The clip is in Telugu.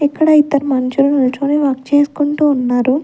ఇక్కడ ఇద్దరు మనుషులు నిల్చొని వర్క్ చేసుకుంటూ ఉన్నారు.